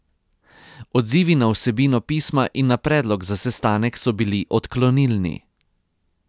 Odzivi na vsebino pisma in na predlog za sestanek so bili odklonilni.